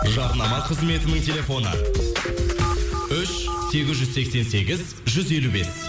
жарнама қызметінің телефоны үш сегіз жүз сексен сегіз жүз елу бес